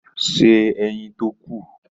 Se ẹyin tó kù.